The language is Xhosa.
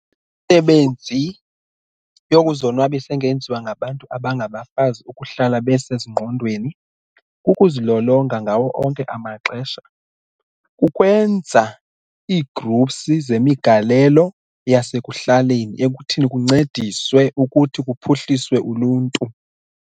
Imisebenzi yokuzonwabisa engenziwa ngabantu abangabafazi ukuhlala besezingqondweni kukuzilolonga ngawo onke amaxesha, kukwenza ii-groups zemigalelo yasekuhlaleni ekuthini kuncediswe ukuthi kuphuhliswe uluntu.